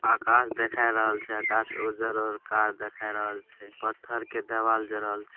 आकाश देखाय रहल छै। आकाश उज्जर और कार देखाय रहल छै। पत्थर के देवाल जोड़ल छै।